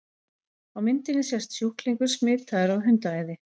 Á myndinni sést sjúklingur smitaður af hundaæði.